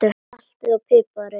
Saltið og piprið.